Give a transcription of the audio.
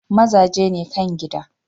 Mazaje ne kan gida.